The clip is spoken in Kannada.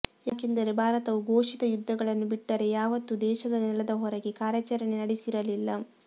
ಯಾಕೆಂದರೆ ಭಾರತವು ಘೋಷಿತ ಯುದ್ಧಗಳನ್ನು ಬಿಟ್ಟರೆ ಯಾವತ್ತೂ ದೇಶದ ನೆಲದ ಹೊರಗೆ ಕಾರ್ಯಾಚರಣೆ ನಡೆಸಿರಲಿಲ್ಲ